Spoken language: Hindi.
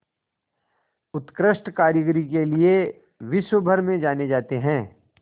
उत्कृष्ट कारीगरी के लिये विश्वभर में जाने जाते हैं